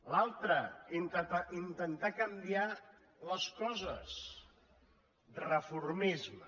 l’altra intentar canviar les coses reformisme